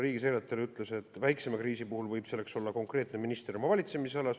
Riigisekretär ütles, et väiksema kriisi puhul võib selleks olla konkreetne minister oma valitsemisalas.